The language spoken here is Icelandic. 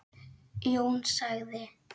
Jón sagði